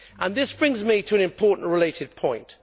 This brings me to an important related point.